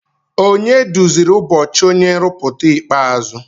Onye duziri ụbọchị onye nrụpụta ikpeazụ?